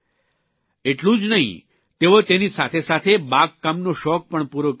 એટલું જ નહિં તેઓ તેની સાથેસાથે બાગકામનો શોખ પણ પૂરો કરી રહ્યાં છે